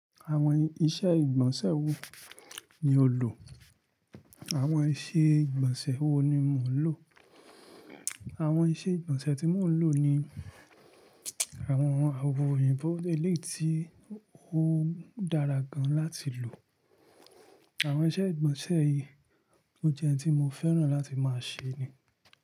Àwọn iṣẹ́ ìgbọ̀nsẹ̀ wo ni o lò? Àwọn iṣẹ́ ìgbọ̀nsẹ̀ wo ni mò ń lò? Àwọn iṣẹ́ ìgbọ̀nsẹ̀ tí mò ń lò ni àwọn awo oyinbo ẹlẹ́yi tí, ó dára gan láti lò. Àwọn iṣẹ́ ìgbọ̀nsẹ̀ yìí, ó jẹ́ oun tí mo fẹ́ràn láti máa ṣẹ́ ni.